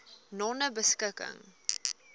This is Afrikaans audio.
nonebeskikking